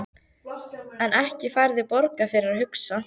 En ekki færðu borgað fyrir að hugsa?